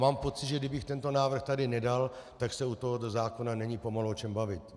Mám pocit, že kdybych tento návrh tady nedal, tak se u tohoto zákona není pomalu o čem bavit.